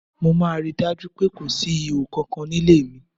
Mo máa rí i dájú pé kò síhò kankan nílé mi.